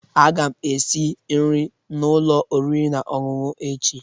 Aga m esi nri n'ụlọ oriri na ọṅụṅụ echi